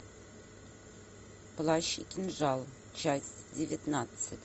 плащ и кинжал часть девятнадцать